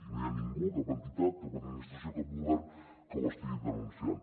i no hi ha ningú cap entitat cap administració cap govern que ho estigui denunciant